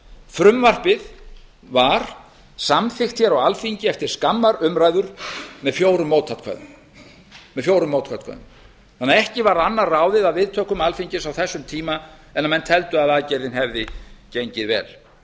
frumvarpið var samþykkt á alþingi eftir skammar umræður með fjórum mótatkvæðum þannig að ekki var annað ráðið af viðtökum alþingis á þessum tíma en menn teldu að aðgerðin hefði gengið vel menn